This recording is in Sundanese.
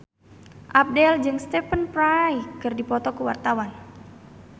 Abdel jeung Stephen Fry keur dipoto ku wartawan